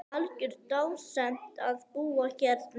Algjör dásemd að búa hérna.